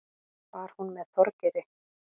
Var hún með Þorgeiri?